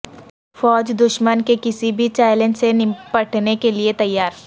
فوج دشمن کے کسی بھی چیلنج سے نپٹنے کے لئے تیار